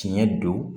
Tiɲɛ don